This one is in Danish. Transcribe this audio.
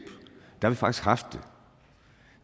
har vi faktisk haft det